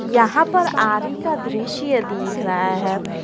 यहां पर आरी का दृश्य दिख रहा है।